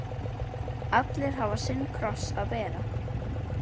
Allir hafa sinn kross að bera.